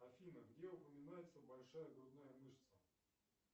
афина где упоминается большая грудная мышца